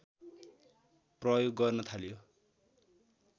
प्रयोग गर्न थालियो